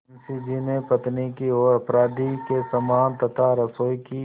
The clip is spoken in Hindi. मुंशी जी ने पत्नी की ओर अपराधी के समान तथा रसोई की